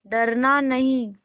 डरना नहीं